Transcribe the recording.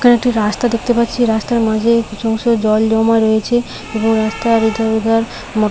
এখানে একটি রাস্তা দেখতে পাচ্ছি রাস্তার মাঝে কিছু অংশ জল জমা রয়েছে এবং রাস্তার অধর ওধর ম--